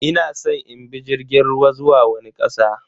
Ina san in bi jirgin ruwa zuwa wani kasa.